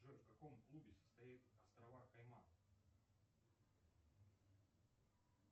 джой в каком клубе состоят острова кайман